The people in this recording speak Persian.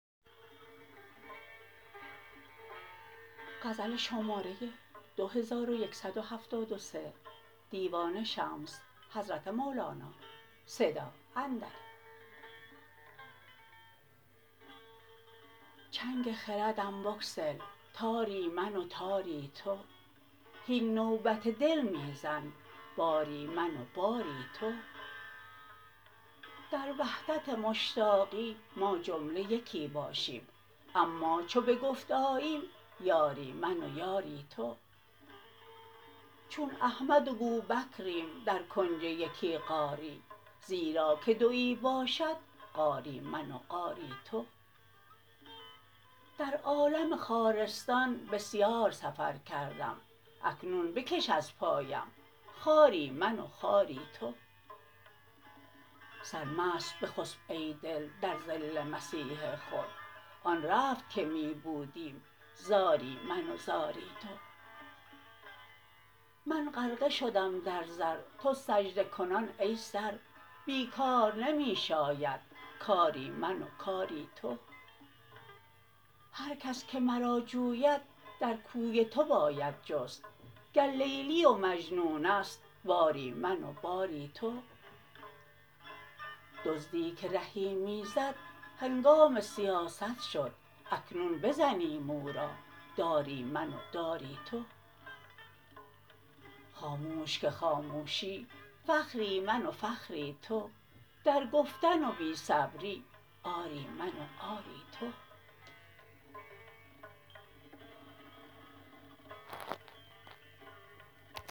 چنگ خردم بگسل تاری من و تاری تو هین نوبت دل می زن باری من و باری تو در وحدت مشتاقی ما جمله یکی باشیم اما چو به گفت آییم یاری من و یاری تو چون احمد و بوبکریم در کنج یکی غاری زیرا که دوی باشد غاری من و غاری تو در عالم خارستان بسیار سفر کردم اکنون بکش از پایم خاری من و خاری تو سرمست بخسپ ای دل در ظل مسیح خود آن رفت که می بودیم زاری من و زاری تو من غرقه شدم در زر تو سجده کنان ای سر بی کار نمی شاید کاری من و کاری تو هر کس که مرا جوید در کوی تو باید جست گر لیلی و مجنون است باری من و باری تو دزدی که رهی می زد هنگام سیاست شد اکنون بزنیم او را داری من و داری تو خاموش که خاموشی فخری من و فخری تو در گفتن و بی صبری عاری من و عاری تو